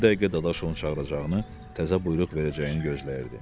Bu dəqiqə Dadaşovun çağıracağını, təzə buyruq verəcəyini gözləyirdi.